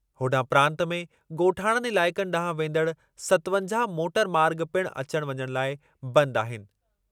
होॾांहुं प्रांत में ॻोठाणनि इलाइक़नि ॾांहुं वेंदड़ सतवंजाहु मोटर मार्ॻु पिणु अचण वञण लाइ बंदि आहिनि।